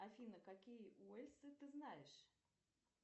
афина какие уэльсы ты знаешь